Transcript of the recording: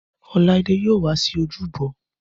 Ọláídé yóò wá sí ojúbọ